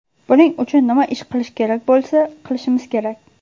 Buning uchun nima ish qilish kerak bo‘lsa, qilishimiz kerak.